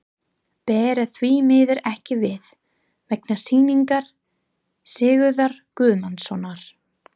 Bera því miður ekki við, vegna sýningar Sigurðar Guðmundssonar.